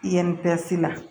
I ye la